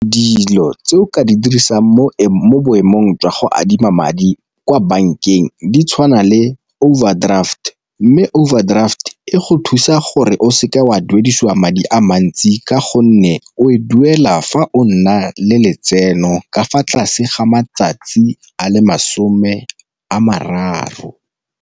Dilo tse o ka di dirisang mo boemong jwa go adima madi kwa bankeng di tshwana le overdraft, mme overdraft e go thusa gore o seke wa a duedisiwa madi a mantsi ka gonne o e duela fa o nna le letseno ka fa tlase ga matsatsi a le masome a mararo.